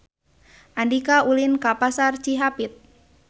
Andika ulin ka Pasar Cihapit